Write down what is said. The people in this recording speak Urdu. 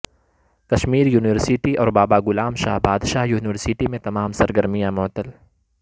کشمیر یونیورسٹی اور بابا غلام شاہ بادشاہ یونیورسٹی میں تمام سرگرمیاں معطل